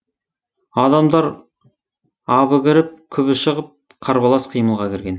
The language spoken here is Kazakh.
адамдар абы кіріп күбі шығып қарбалас қимылға кірген